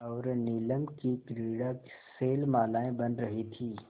और नीलम की क्रीड़ा शैलमालाएँ बन रही थीं